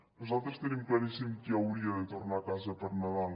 nosaltres tenim claríssim qui hauria de tornar a casa per nadal